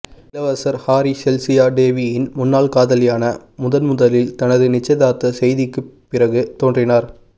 இளவரசர் Harry Chelsea டேவியின் முன்னாள் காதலியான முதன்முதலில் தனது நிச்சயதார்த்த செய்திக்குப் பிறகு தோன்றினார்